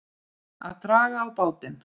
Að draga á bátinn